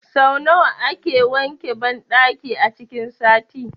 Sau nawa kake wanke banɗakin a cikin sati?